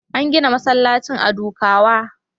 An gina masallacin a Dukawa.